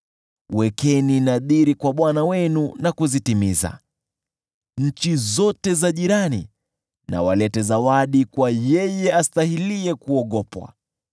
Wekeni nadhiri kwa Bwana Mungu wenu na kuzitimiza; nchi zote za jirani na walete zawadi kwa Yule astahiliye kuogopwa.